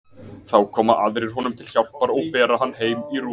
Þá koma aðrir honum til hjálpar og bera hann heim í rúm.